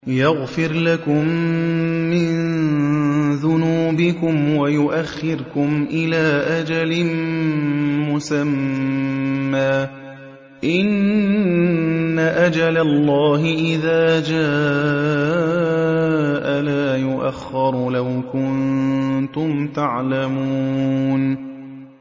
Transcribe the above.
يَغْفِرْ لَكُم مِّن ذُنُوبِكُمْ وَيُؤَخِّرْكُمْ إِلَىٰ أَجَلٍ مُّسَمًّى ۚ إِنَّ أَجَلَ اللَّهِ إِذَا جَاءَ لَا يُؤَخَّرُ ۖ لَوْ كُنتُمْ تَعْلَمُونَ